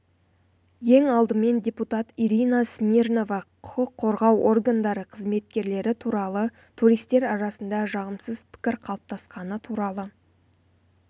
ең алдымен депутат ирина смирнова құқық қорғау органдары қызметкерлері туралы туристер арасында жағымсыз пікір қалыптасқаны туралы